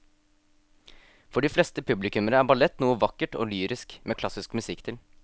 For de fleste publikummere er ballett noe vakkert og lyrisk med klassisk musikk til.